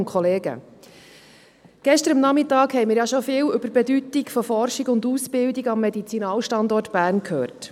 Gestern Nachmittag haben wir schon viel über die Bedeutung von Forschung und Ausbildung am Medizinalstandort Bern gehört.